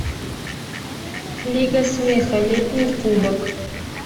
лига смеха летний кубок